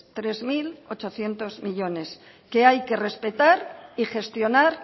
tres mil ochocientos millónes que hay que respetar y gestionar